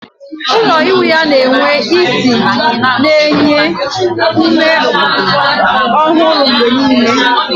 Ụlọ ịwụ ya na-enwe ísì na-enye ume ọhụrụ mgbe niile